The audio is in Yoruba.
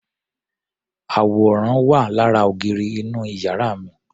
Àwòrán wà lára ògiri inú yàrá mi.